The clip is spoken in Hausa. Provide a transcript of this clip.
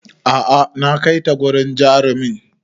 A'a na kaita wurin jarumin